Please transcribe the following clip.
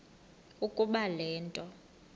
ukuba le nto